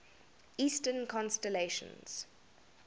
eastern constellations